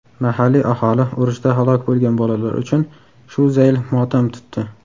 Mahalliy aholi urushda halok bo‘lgan bolalar uchun shu zayl motam tutdi.